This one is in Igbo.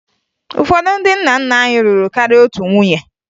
Ụfọdụ ndị nna nna anyị lụrụ karịa otu nwunye